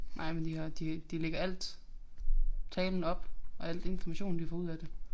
Nej men de har de de lægger alt talen op og alt informationen de får ud af det